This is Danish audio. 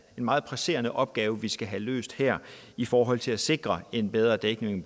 meget presserende opgave vi skal have løst her i forhold til at sikre en bedre dækning